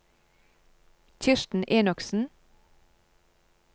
Kirsten Enoksen